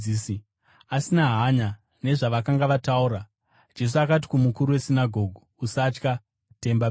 Asina hanya nezvavakanga vataura, Jesu akati kumukuru wesinagoge, “Usatya; tenda bedzi.”